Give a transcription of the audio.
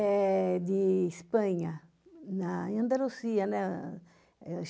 É de Espanha, na em Andalucía, né?